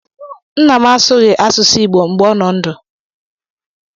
Nna m asụghị asụsụ Igbo mgbe ọ nọ ndụ.